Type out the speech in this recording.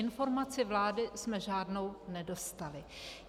Informaci vlády jsme žádnou nedostali.